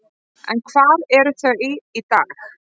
En hvar eru þau í dag?